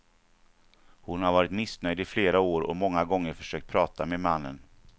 Hon har varit missnöjd i flera år och många gånger försökt prata med mannen.